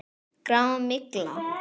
Grá. mygla!